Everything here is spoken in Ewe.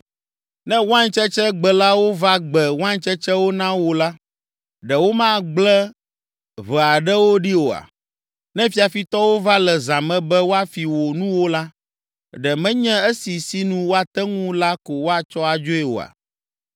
Ne waintsetsegbelawo va gbe waintsetsewo na wò la, ɖe womagblẽ ʋe aɖewo ɖi oa? Ne fiafitɔwo va le zã me be woafi wò nuwo la, ɖe menye esi sinu woate ŋui la ko woatsɔ adzoe oa?